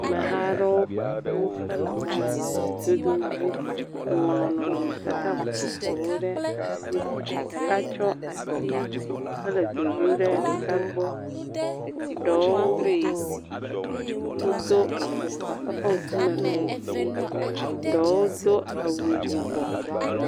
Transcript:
Ameha aɖewo ƒo ƒu hele mɔdodo dzi ŋlɔ nɔnɔmetata vovovowo ɖe asi, ɖeka kɔ ati hele dodom ɖe ɖeka gbɔ. Ɖewo wodo afɔkpa eƒe ŋkume le ʋie, ɖewo do awu yibɔ.